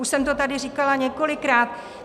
Už jsem to tady říkala několikrát.